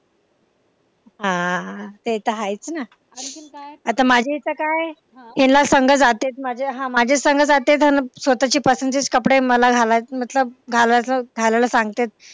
हा ते तर आहेच ना आता माझे इथं काय हेल संग जाते माझे संग जाते अन स्वतःच्या पसंतीचे कपडे मला घालायचेत मतलब घालायचाच घालायला सांगते.